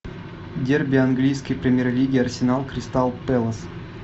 дерби английской премьер лиги арсенал кристал пэлас